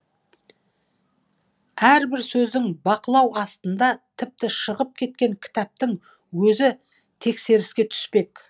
әрбір сөздің бақылау астында тіпті шығып кеткен кітаптың өзі тексеріске түспек